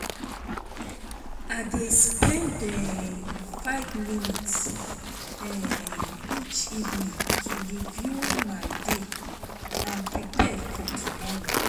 I dey spend um five minutes um each evening to review my day and prepare for tomorrow.